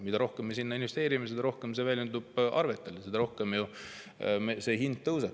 Mida rohkem me sinna investeerime, seda rohkem see väljendub arvetel, seda rohkem see hind tõuseb.